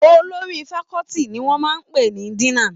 Olórí faculty ni wọ́n máa ń pè ní Dean.